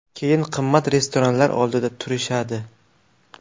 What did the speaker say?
Keyin qimmat restoranlar oldida turishadi.